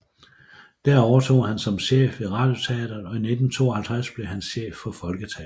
Der overtog han som chef ved Radioteateret og i 1952 blev han chef for Folketeateret